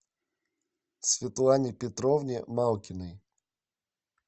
светлане петровне малкиной